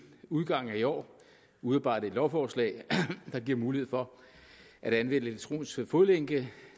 udgangen af i år udarbejde et lovforslag der giver mulighed for at anvende elektronisk fodlænke